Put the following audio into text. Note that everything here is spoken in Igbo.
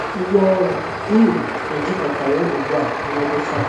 Ngwaọrụ m ejikọtawo ugbu a na ọdụ.